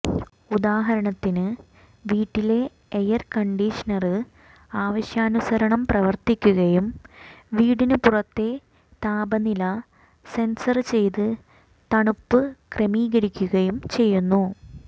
ഉദാഹരണത്തിന് വീട്ടിലെ എയര്കണ്ടീഷണര് ആവശ്യാനുസരണം പ്രവര്ത്തിക്കുകയും വീട്ടിന് പുറത്തെ താപനില സെന്സര് ചെയ്ത് തണുപ്പ് ക്രമീകരിക്കുകയും ചെയ്യുന്നു